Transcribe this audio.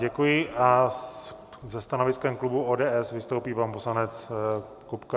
Děkuji a se stanoviskem klubu ODS vystoupí pan poslanec Kupka.